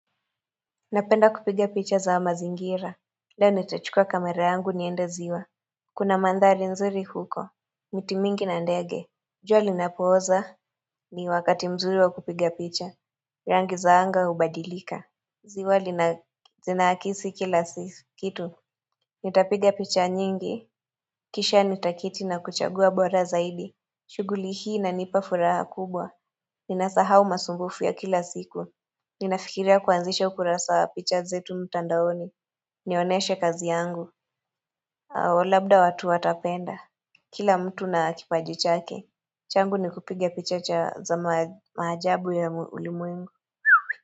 Napenda kupiga picha za mazingira. Leo nitachukua kamera yangu nienda ziwa. Kuna mandhari nzuri huko. Miti mingi na ndege. Jua linapooza ni wakati mzuri wa kupiga picha. Rangi zaanga hubadilika. Ziwa linaakisi kila kitu. Nitapiga picha nyingi. Kisha nitaketi na kuchagua bora zaidi. Shughuli hii inanipa furaha kubwa. Ninasahau masumbufu ya kila siku. Ninafikiria kuanzisha ukurasawa picha zetu mtandaoni Nioneshe kazi yangu labda watu watapenda Kila mtu nakipajichake changu ni kupiga picha za maajabu ya ulimwengu.